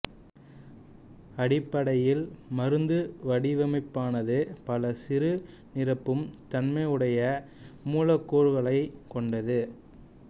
அடிப்படையில் மருந்து வடிவமைப்பானது பல சிறு நிரப்பும் தன்மையுடைய மூலக்கூறுகளை கொண்டது